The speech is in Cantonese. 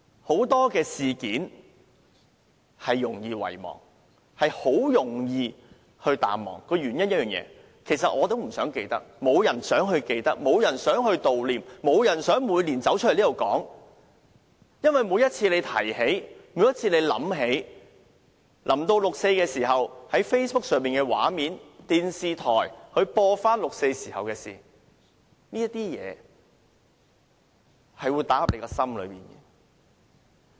很多事件容易遺忘，也容易淡忘，其實我也不想記起，沒有人想記起，沒有人想悼念，沒有人想每年走出來在這裏說這事，因為每次提起這事，每次想起這事，每年接近6月4日時在 Facebook 上看到的畫面或電視重播六四時候發生的事情，凡此種種都打進大家的心坎內。